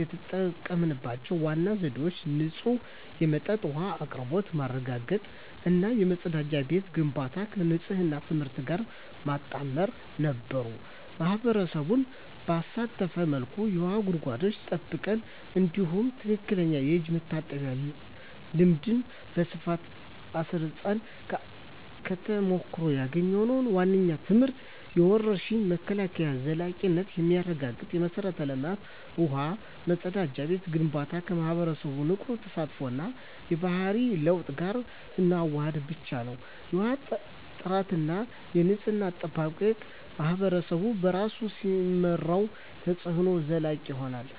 የተጠቀምንባቸው ዋና ዘዴዎች ንጹህ የመጠጥ ውሃ አቅርቦት ማረጋገጥ እና የመጸዳጃ ቤት ግንባታን ከንፅህና ትምህርት ጋር ማጣመር ነበሩ። ማኅበረሰቡን ባሳተፈ መልኩ የውሃ ጉድጓዶችን ጠብቀን፣ እንዲሁም ትክክለኛ የእጅ መታጠብ ልምድን በስፋት አስረፅን። ከተሞክሮ ያገኘነው ዋነኛው ትምህርት የወረርሽኝ መከላከል ዘላቂነት የሚረጋገጠው የመሠረተ ልማት (ውሃ፣ መጸዳጃ ቤት) ግንባታን ከማኅበረሰቡ ንቁ ተሳትፎ እና የባህሪ ለውጥ ጋር ስናዋህድ ብቻ ነው። የውሃ ጥራትና የንፅህና አጠባበቅን ማኅበረሰቡ በራሱ ሲመራው፣ ተፅዕኖው ዘላቂ ይሆናል።